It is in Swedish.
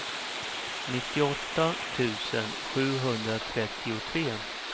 nittioåtta tusen sjuhundratrettiotre